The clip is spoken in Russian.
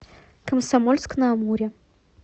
комсомольск на амуре